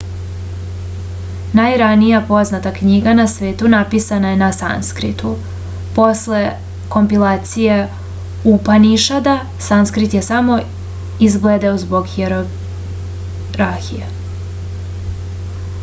najranija poznata knjiga na svetu napisana je na sanskritu posle kompilacije upanišada sanskrit je samo izbledeo zbog hijerarhije